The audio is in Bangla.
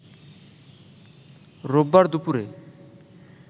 রোববার দুপুরে